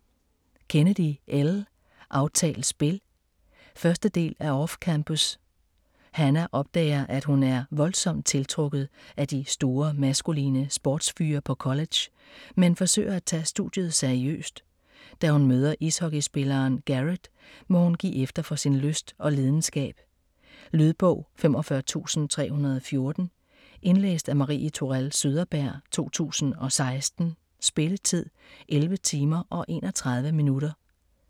Kennedy, Elle: Aftalt spil 1. del af Off-campus. Hannah opdager, at hun er voldsomt tiltrukket af de store, maskuline sportsfyre på college, men forsøger at tage studiet seriøst. Da hun møder ishockeyspilleren Garrett, må hun give efter for sin lyst og lidenskab. Lydbog 45314 Indlæst af Marie Tourell Søderberg, 2016. Spilletid: 11 timer, 31 minutter.